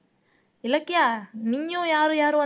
இலக்கியா நீயும் யாரும் யாரு வந்